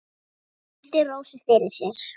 Hann virti Rósu fyrir sér.